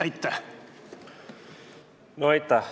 Aitäh!